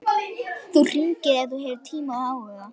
Þú hringir ef þú hefur tíma og áhuga.